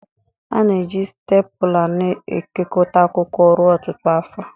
A na-eji stepula na-ekekọta akwụkwọ ruo ọtụtụ afọ.